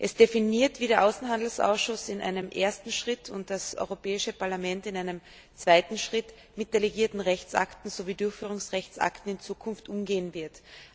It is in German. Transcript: Es definiert, wie der Außenhandelsausschuss in einem ersten Schritt und das Europäische Parlament in einem zweiten Schritt mit delegierten Rechtsakten sowie Durchführungsrechtsakten in Zukunft umgehen werden.